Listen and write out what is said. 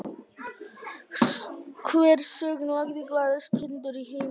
Hver söng lagið “Glaðasti hundur í heimi”?